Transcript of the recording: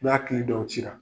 N'a k'ili dɔw ci la.